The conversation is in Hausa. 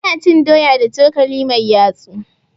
Ana cin doya da cokali mai yatsu.